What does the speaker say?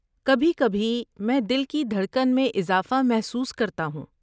کبھی کبھی، میں دل کی دھڑکن میں اضافہ محسوس کرتا ہوں۔